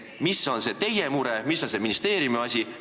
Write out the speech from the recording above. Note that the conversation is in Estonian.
Mis on see teie mure, mis on see ministeeriumi asi?